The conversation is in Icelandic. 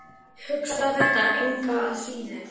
Hugsaði þetta engu að síður.